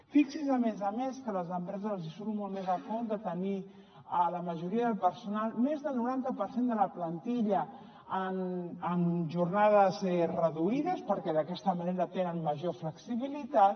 fixi’s a més a més que a les empreses els surt molt més a compte tenir la majoria de personal més del noranta per cent de la plantilla en jornades reduïdes perquè d’aquesta manera tenen major flexibilitat